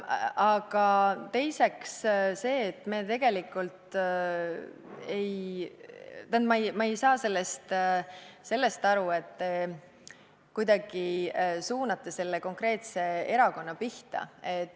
Aga teiseks, tegelikult ma ei saa sellest aru, kui te suunate selle konkreetse erakonna pihta.